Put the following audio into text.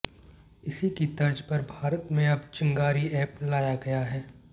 इसी की तर्ज पर भारत में अब चिंगारी एप लाया गया है